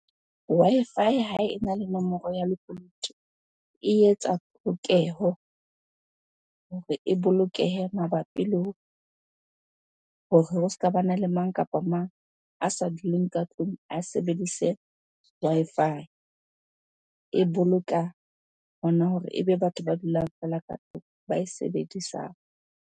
Wi-Fi ha ena le nomoro ya lekunutu e etsa polokeho hore e bolokehe mabapi le hore ho ska bana le mang kapa mang a sa duleng ka tlung a sebedise Wi-Fi. E boloka hona hore ebe batho ba dulang fela ka tlung ba e sebedisang.